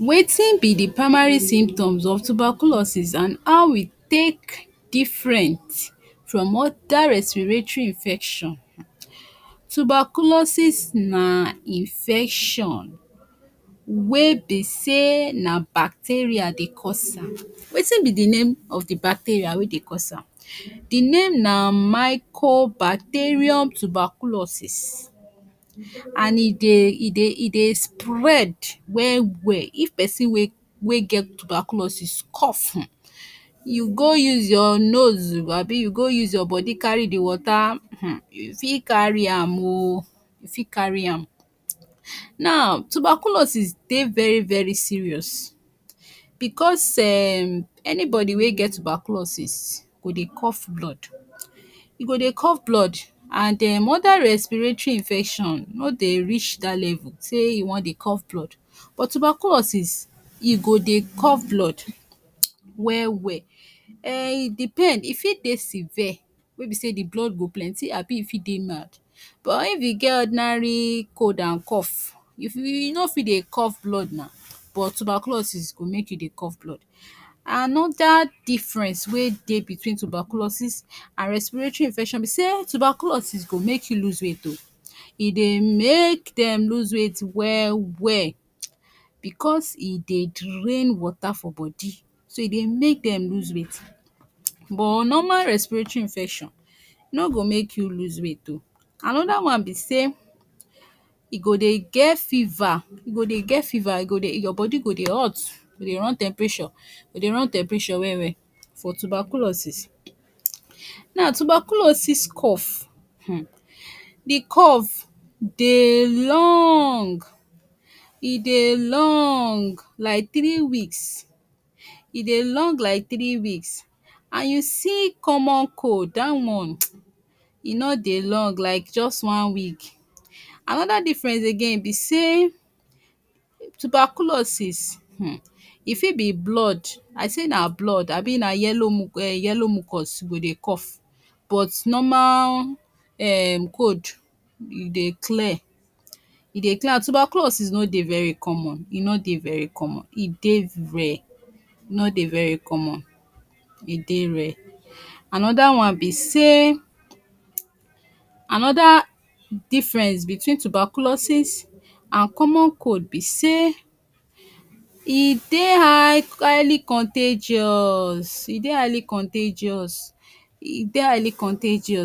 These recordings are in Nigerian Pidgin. wetin be d permanent symptoms of tuberculosis and how e take different from oda restiratry infection, tuberculosis na infetion wey be say na bacteria Dey cause, wetin be the name of the bacteria wey Dey cause am? The name na mycobacterium tuberculosis and e Dey e Dey e Dey spread wel wel if person wey wey get tuberculosis cough um u go use ur nose Abi u go use ur body Cary d water um u fi carry am o, u fi carry am, now tuberculosis Dey very very serious bcuz um anybody wey get tuberculosis go Dey cough blood, e go Dey cough blood and Um oda respiratory infection no Dey rish dat level say e wan Dey cough blood but tubercurosis e go Dey cough blood wel wel um e depend e fi Dey sever wey be say the blood go plenty Abi e fi Dey male but if e get ordinary cold and cough, u fi, u no fi Dey cough blood na but tuberculosis go make you Dey cough blood, another difference wey Dey tuberculosis and resratory infection be say tuberculosis go make u loose weight o, e go make you loose weight bcuz e Dey drain water for body so e Dey make dem loose weight but normal respitiratry infection no go make you loose weight o, another one be say e go Dey get fever, e go Dey get fever, go Dey get fever, your body go Dey hot, go run temperature, go Dey run temperature wel wel for tuberculosis, na tuberculosis cough um the cough Dey long, e Dey long like three weeks, e Dey long like three weeks and you see common cold, dat one e no Dey long like jus one week, another difference again be say tuberculosis um e fi be blood, I say na blood Abi na yellow muco um yellow mucos go Dey cough but normal um cold e Dey clear, e Dey clear and tuberculosis no Dey very common, e no Dey very common, e Dey rare, e no Dey very common, e Dey rare, another one be say another difference between tuberculosis and common cod be say w Dey highly contagious, e Dey highly contagious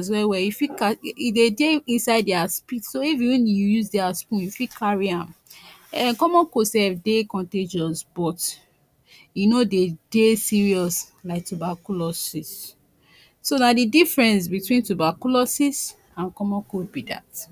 well well, u fit catch, e Dey Dey inside dia spit so if even if u use dia spoon, u fit card am um common cod sef Dey contagious but e no Dey Dey serious like tuberculosis, so na the difference between tuberculosis and common cod be dat.